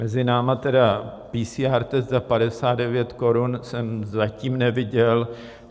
Mezi námi, tedy PCR test za 59 korun jsem zatím neviděl.